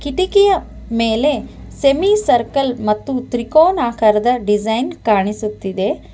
ಕಿಟಕಿಯ ಮೇಲೆ semicircle ಮತ್ತು ತ್ರಿಕೋನಾಕಾರದ ಡಿಸೈನ್ ಕಾಣಿಸುತ್ತಿದೆ.